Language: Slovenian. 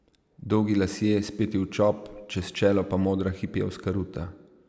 Dolgi lasje, speti v čop, čez čelo pa modra hipijevska ruta.